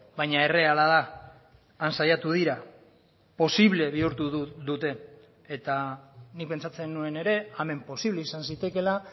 baina erreala da han saiatu dira posible bihurtu dute eta nik pentsatzen nuen ere hemen posible izan zitekeela